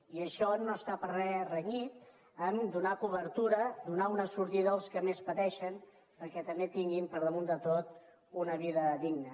i això no està per a res renyit amb donar cobertura donar una sortida als que més pateixen perquè també tinguin per damunt de tot una vida digna